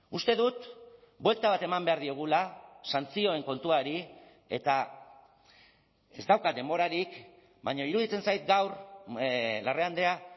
uste dut buelta bat eman behar diogula santzioen kontuari eta ez daukat denborarik baina iruditzen zait gaur larrea andrea